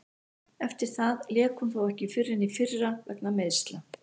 Eftir það lék hún þó ekki fyrr en í fyrra vegna meiðsla.